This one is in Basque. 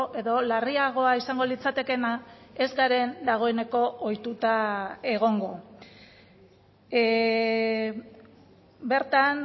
edo larriagoa izango litzatekeena ez garen dagoeneko ohituta egongo bertan